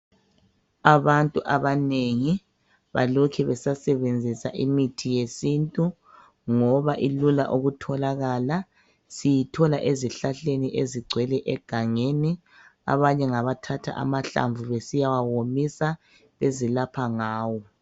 Abantu abanengi balokhe besasebenzisa imithi yesintu ngoba ilula ukutholakala siyithola ezihlahleni ezigcwele egangeni abanye ngabathatha amahlamvu besiyawawomisa bezilapha ngawo.